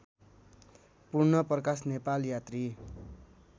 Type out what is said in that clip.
पूर्णप्रकाश नेपाल यात्री